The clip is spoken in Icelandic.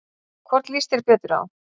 Hvorn líst þér betur á?